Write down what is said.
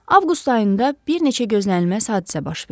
Avqust ayında bir neçə gözlənilməz hadisə baş verdi.